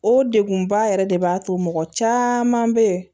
O degunba yɛrɛ de b'a to mɔgɔ caman be yen